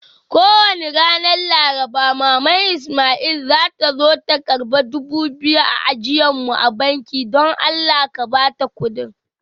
Kowani ran laraba, maman lsmaili zata zo ta karba dubu biyu ta ajie mun a banki. Dan Allah, ka Bata kudin.